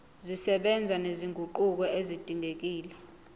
zisebenza nezinguquko ezidingekile